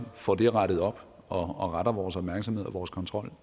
får det rettet op og retter vores opmærksomhed og vores kontrol